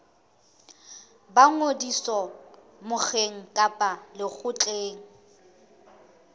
ba ngodiso mokgeng kapa lekgotleng